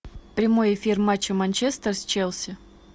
прямой эфир матча манчестер с челси